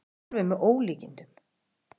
Þetta er alveg með ólíkindum.